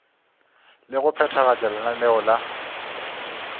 le go phethagatša lenaneo la